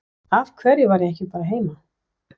Af hverju var ég ekki bara heima?